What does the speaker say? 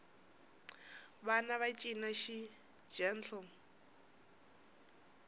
vana va cina xigentle